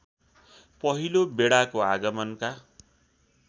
पहिलो बेडाको आगमनका